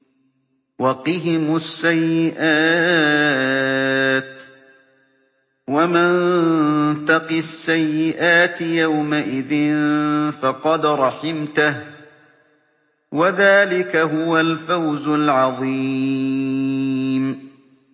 وَقِهِمُ السَّيِّئَاتِ ۚ وَمَن تَقِ السَّيِّئَاتِ يَوْمَئِذٍ فَقَدْ رَحِمْتَهُ ۚ وَذَٰلِكَ هُوَ الْفَوْزُ الْعَظِيمُ